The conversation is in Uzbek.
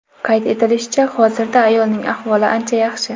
Qayd etilishicha, hozirda ayolning ahvoli ancha yaxshi.